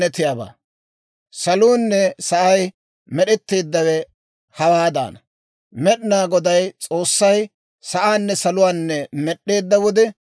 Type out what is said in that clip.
Saluunne sa'ay med'etteeddawe hawaadaana. Med'inaa Goday S'oossay sa'aanne saluwaanne med'd'eedda wode,